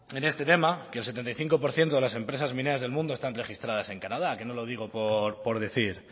en este tema que el setenta y cinco por ciento de las empresas mineras del mundo están registradas en canadá que no lo digo por decir